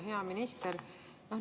Hea minister!